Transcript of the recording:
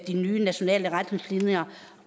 de nye nationale retningslinjer